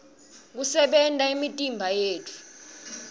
kusebenta kwemitimba yethu